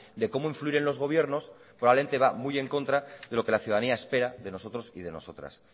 de cómo influir en los gobiernos probablemente va muy en contra de lo que la ciudadanía espera de nosotros y de nosotras